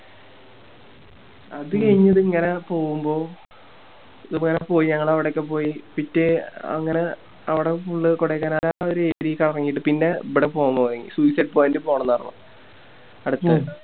അത് കയിഞ്ഞിട്ടിങ്ങനെ പോവുമ്പോ പോയി ഞങ്ങള് അവിടൊക്കെ പോയി പിറ്റേ അങ്ങനെ അവിടെ Full കൊടൈക്കനാല് ആ ഒരു Area കറങ്ങിട്ട് പിന്നെ ഇബിടെ പോവാൻ തൊടങ്ങി Suicide ponit ൽ പോണംന്ന് പറഞ്ഞു അടുത്തത്